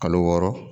Kalo wɔɔrɔ